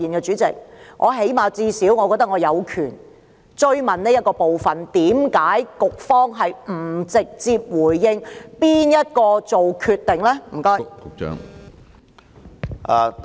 主席，我認為最低限度我有權追問這部分，為何局方不直接回應是何人作決定的？